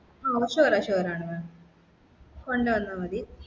ആ sure ആ sure ആണു mam കൊണ്ട് വന്നാ മതി